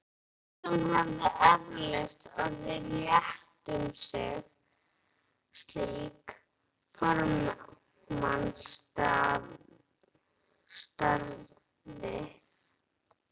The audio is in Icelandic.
Flestum hefði eflaust orðið létt um slík formsatriði.